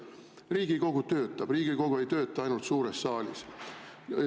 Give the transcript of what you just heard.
Riigikogu töötab, Riigikogu ei tööta ainult suures saalis.